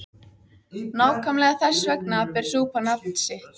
Nákvæmlega þess vegna ber súpan nafn sitt.